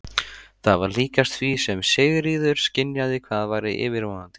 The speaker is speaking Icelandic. Það var líkast því sem Sigríður skynjaði hvað væri yfirvofandi.